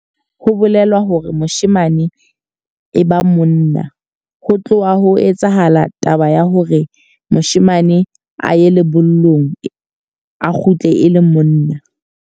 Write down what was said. Ho bolela hore moshemane e ba monna. Ho tloha ho etsahala taba ya hore moshemane a ye lebollong, a kgutle e le monna.